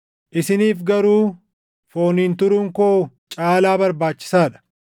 isiniif garuu fooniin turuun koo caalaa barbaachisaa dha.